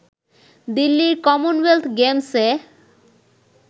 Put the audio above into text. দিল্লির কমনওয়েলথ গেমস-এ